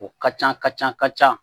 O ka ca ka ca ka ca